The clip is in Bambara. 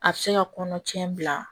A bɛ se ka kɔnɔcɛ bila